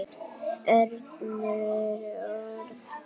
Önnur orð.